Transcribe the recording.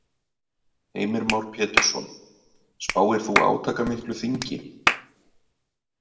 Heimir Már Pétursson: Spáir þú átakamiklu þingi?